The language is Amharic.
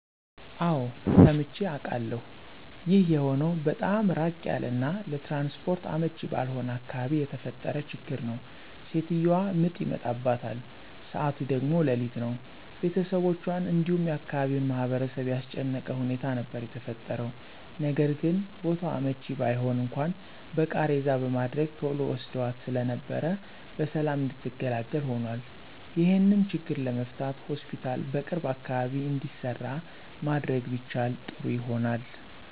አወ ሰምቼ አቃለሁ። ይህ የሆነው በጣም ራቅ ያለ እና ለትራንስፖርት አመቺ ባልሆነ አካባቢ የተፈጠረ ችግር ነው። ሴትዮዋ ምጥ ይመጣባታል ሰዓቱ ደግሞ ሌሊት ነው፤ ቤተሰቦቹአን እንዲሁም የአካባቢውን ማህበረሰብ ያስጨነቀ ሁኔታ ነበር የተፈጠረው። ነገርግን ቦታው አመቺ ባይሆን እንኳን በቃሬዛ በማድረግ ቶሎ ወስደዋት ስለነበር በሰላም እንድትገላገል ሆኖአል። ይሄንም ችግር ለመፍታት ሆስፒታል በቅርብ አካባቢ እንዲሰራ ማድረግ ቢቻል ጥሩ ይሆናል።